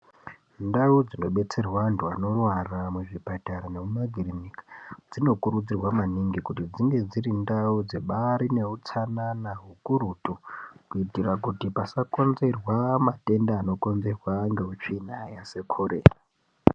Ndau dzinodetserwe vantu vanorwara, muzvipatara nemumakirinika, dzinokurudzirwa maningi kuti dzinge dzirindau dzebari newutsanana zvikurutu, kuyitira kuti pasakonzerwa matenda anokonzerwa ngetsvina sekhorera.